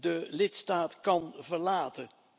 de lidstaat kan verlaten.